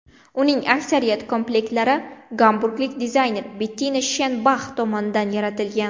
Uning aksariyat komplektlari gamburglik dizayner Bettina Shenbax tomonidan yaratilgan.